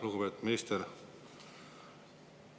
Lugupeetud minister!